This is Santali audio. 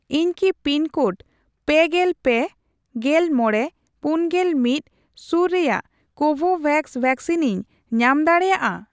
ᱤᱧ ᱠᱤ ᱯᱤᱱᱠᱳᱰ ᱯᱮᱜᱮᱞ ᱯᱮ ,ᱜᱮᱞ ᱢᱚᱲᱮ ,ᱯᱩᱱᱜᱮᱞ ᱢᱤᱛ ᱥᱩᱨ ᱨᱮᱭᱟᱜ ᱠᱳᱵᱷᱳᱵᱷᱮᱠᱥ ᱣᱮᱠᱥᱤᱱᱤᱧ ᱧᱟᱢ ᱫᱟᱲᱮᱭᱟᱜᱼᱟ ᱾